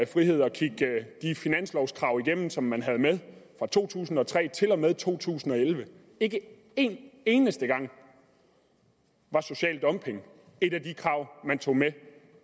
frihed at kigge de finanslovkrav igennem som man havde med fra to tusind og tre til og med to tusind og elleve og ikke en eneste gang var social dumping et af de krav man tog med